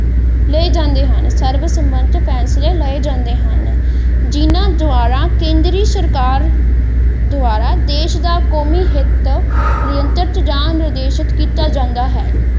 ਲਏ ਜਾਂਦੇ ਹਨ ਸਰਵ ਸਮਿਤ ਫੈਂਸਲੇ ਲਏ ਜਾਂਦੇ ਹਨ ਜਿੰਨਾ ਦੁਆਰਾ ਕੇਂਦਰੀ ਸਰਕਾਰ ਦੁਆਰਾ ਦੇਸ਼ ਦਾ ਕੋਮੀ ਹਿੱਤ ਸੁਤੰਤਰ ਜਾਂ ਨਿਰਦੇਸ਼ਕ ਕੀਤਾ ਜਾਂਦਾ ਹੈ।